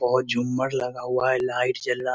बहुत झुम्मार लगा हुआ है लाइट जल रहा --